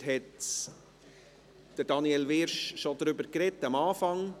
Daniel Wyrsch hat schon zu Beginn dazu gesprochen.